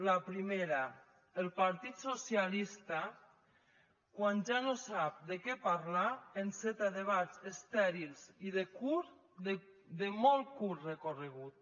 la primera el partit socialista quan ja no sap de què parlar enceta debats estèrils i de curt de molt curt recorregut